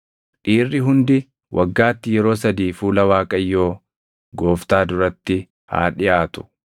“Dhiirri hundi waggaatti yeroo sadii fuula Waaqayyoo Gooftaa duratti haa dhiʼaatu.